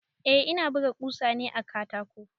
Eh ina buga ƙusa ne a katako.